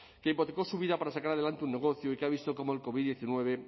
que hipotético su vida para sacar adelante un negocio y que ha visto cómo el covid diecinueve